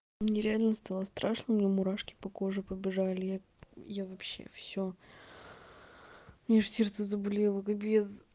мне реально стало страшно у меня мурашки по коже побежали я я вообще у меня аж сердце заболело капец